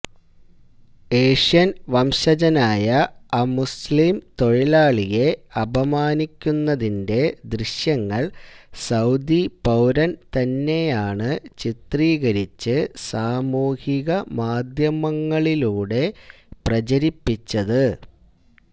Asian വംശജനായ അമുസ്ലിം തൊഴിലാളിയെ അപമാനിക്കുന്നതിന്റെ ദൃശ്യങ്ങള് സൌദി പൌരന് തന്നെയാണ് ചിത്രീകരിച്ച് സാമൂഹികമാധ്യമങ്ങളിലൂടെ പ്രചരിപ്പിച്ചത്